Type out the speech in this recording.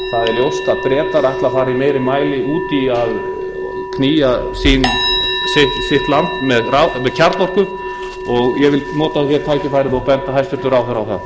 út í að knýja land sitt með kjarnorku og ég vil nota tækifærið hér og benda hæstvirtum ráðherra á það